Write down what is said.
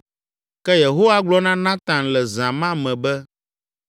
Ke Yehowa gblɔ na Natan le zã ma me be,